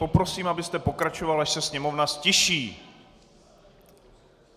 Poprosím, abyste pokračoval, až se sněmovna ztiší.